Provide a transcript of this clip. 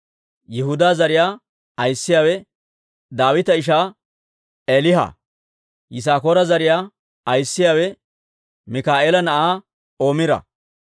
Yihudaa zariyaa ayissiyaawe Daawita ishaa Eeliha. Yisaakoora zariyaa ayissiyaawe Mikaa'eela na'aa Omira.